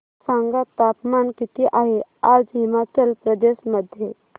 सांगा तापमान किती आहे आज हिमाचल प्रदेश मध्ये